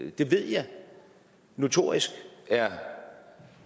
ved jeg notorisk er